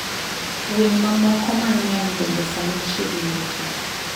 Winy mamoko mang'eny bende sani chiegni rumo.